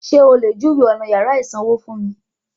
Sé o lè júwèé ọ̀nà yàrá ìsanwó fún mi?